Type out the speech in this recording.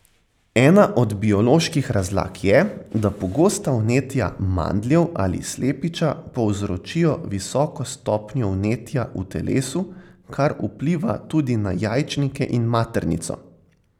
Ena od bioloških razlag je, da pogosta vnetja mandljev ali slepiča povzročijo visoko stopnjo vnetja v telesu, kar vpliva tudi na jajčnike in maternico.